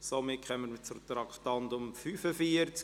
Somit kommen wir zum Traktandum 45: